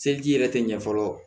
Seliki yɛrɛ tɛ ɲɛ fɔlɔ